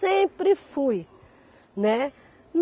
Sempre fui, né.